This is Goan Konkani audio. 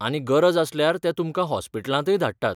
आनी गरज आसल्यार ते तुमकां हॉस्पिटलांतय धाडटात.